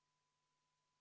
V a h e a e g